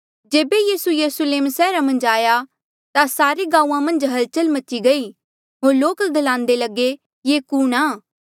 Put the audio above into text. जेबे यीसू यरुस्लेम सैहरा मन्झ आया ता सारे गांऊँआं मन्झ हलचल मची गयी होर लोक ग्लान्दे लगे ये कुणहां